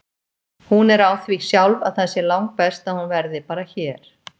Hún er á því sjálf að það sé langbest að hún verði bara hér.